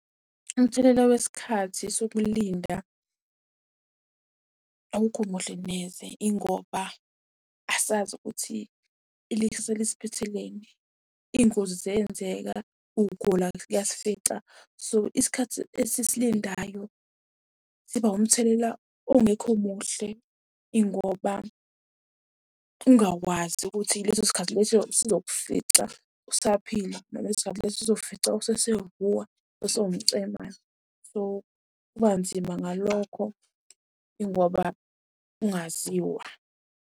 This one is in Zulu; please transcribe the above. Umthelela wesikhathi sokulinda awukho muhle neze. Ingoba asazi ukuthi iliksasa lisiphatheleni, iy'ngozi ziyenzeka, ukugula kuyasifica. So, isikhathi esisilindayo siba umthelela ongekho muhle, ingoba ungakwazi ukuthi leso sikhathi leso sizokufica usaphila noma lesi sikhathi lesi sizokufica usesehhuwe, usewumcemane. So, kuba nzima ngalokho ingoba kungaziwa.